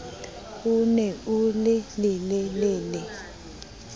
o ne o le lelele